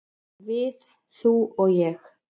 """Við, þú og ég."""